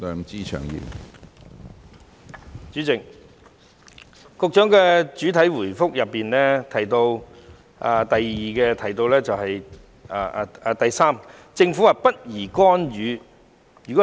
主席，局長在主體答覆第三部分提到政府不宜干預。